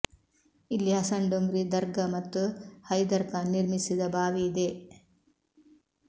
ಇಲ್ಲಿ ಹಸನ್ ಡೊಂಗ್ರಿ ದರ್ಗಾ ಮತ್ತು ಹೈದರ್ ಖಾನ್ ನಿರ್ಮಿಸಿದ ಬಾವಿ ಇದೆ